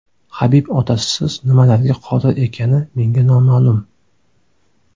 Habib otasisiz nimalarga qodir ekani menga noma’lum.